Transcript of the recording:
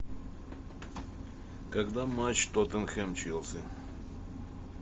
когда матч тоттенхэм челси